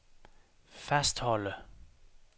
fastholde